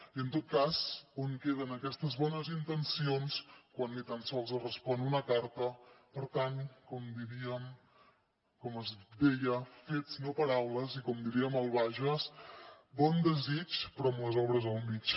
i en tot cas on queden aquestes bones intencions quan ni tan sols es respon una carta per tant com es deia fets no paraules i com diríem al bages bon desig però amb les obres al mig